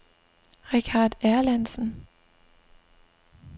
Richardt Erlandsen